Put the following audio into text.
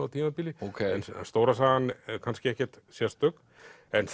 á tímabili en stóra sagan er kannski ekkert sérstök en